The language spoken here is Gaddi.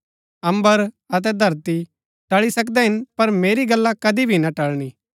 अम्बर अतै धरती टळी सकदै हिन पर मेरी गल्ला कदी भी ना टलणी